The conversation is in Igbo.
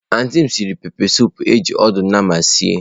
Antị m siri pepesụpụ eji ọdụ nama sie.